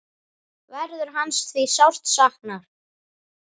Verður hans því sárt saknað.